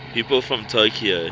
people from tokyo